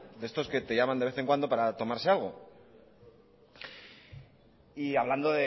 de estos que te llaman de vez en cuando para tomarse algo y hablando